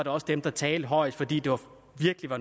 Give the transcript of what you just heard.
også dem der talte højest fordi det var